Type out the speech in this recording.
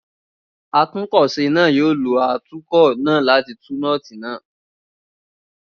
Atúnkọ̀se náà yóò lo atúkọ̀ náà láti tú nọ́ọ́tì náà.